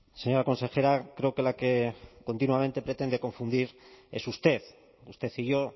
señora consejera creo que la que continuamente pretende confundir es usted usted y yo